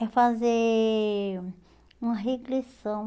É fazer uma regressão.